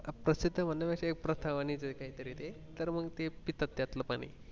प्रसिध्द मानण्या पेक्षा एक प्रथा वाणी च ये ते सर्व तेच पितात त्यातलं पाणी.